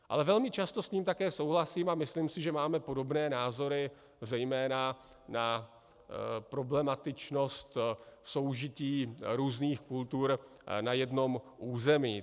Ale velmi často s ním také souhlasím, a myslím si, že máme podobné názory zejména na problematičnost soužití různých kultur na jednom území.